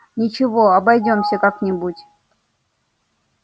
ничего обойдётся как нибудь